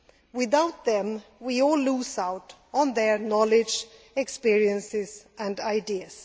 Without them, we all lose out on their knowledge, experience and ideas.